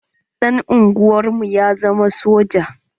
Ɗan unguwar mu ya zama soja.